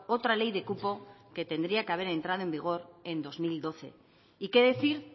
otra ley de cupo que tendría que haber entrado en vigor en dos mil doce y qué decir